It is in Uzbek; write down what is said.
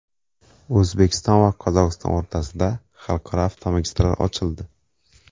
O‘zbekiston va Qozog‘iston o‘rtasida xalqaro avtomagistral ochildi.